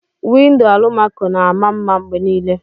Windo alumaco na ama mma mgbe niile